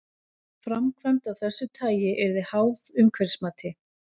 Framkvæmd af þessu tagi yrði háð umhverfismati.